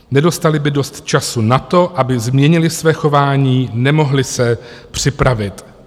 Nedostali by dost času na to, aby změnili své chování, nemohli se připravit."